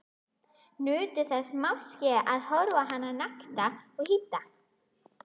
Nutu þess máske að horfa á hana nakta og hýdda.